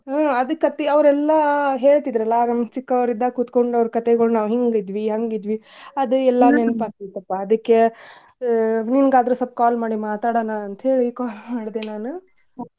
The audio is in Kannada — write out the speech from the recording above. ಹ್ಮ್ ಅದ್ ಕಥಿ ಅವ್ರೆಲ್ಲಾ ಹೇಳ್ತಿದ್ರಲ್ಲಾ ನಮ್ಗ್ ಚಿಕ್ಕವ್ರಿದ್ದಾಗ ಕುತ್ಕೊಂಡ್ ಅವ್ರ್ ಕಥೆಗೋಳ್ ನಾವ್ ಹಿಂಗ್ ಇದ್ವಿ ಹಂಗ್ ಇದ್ವಿ ಅದ್ ಆಗ್ತೆತಪ್ಪಾ ಅದಕ್ಕೆ ಆಹ್ ನಿಂಗಾದ್ರು ಸ್ವಪ್ call ಮಾಡಿ ಮಾತಾಡೋಣಾ ಅಂತ ಹೇಳಿ call ಮಾಡ್ದೆ ನಾನು.